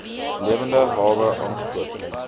lewende hawe aangekoop